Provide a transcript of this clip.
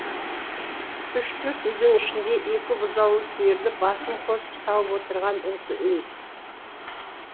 үш төрт үйдің ішінде екі бұзаулы сиырдың басын қосып сауып отырған осы үй